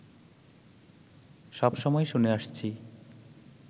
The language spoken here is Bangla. সবসময় শুনে আসছি